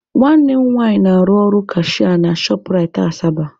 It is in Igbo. Nwanne m nwanyị na-arụ ọrụ kashịa na Shọp Rait Asaba.